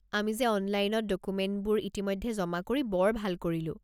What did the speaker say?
আমি যে অনলাইনত ডকুমেণ্টবোৰ ইতিমধ্যে জমা কৰি বৰ ভাল কৰিলোঁ।